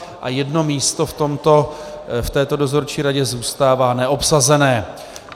A jedno místo v této dozorčí radě zůstává neobsazené.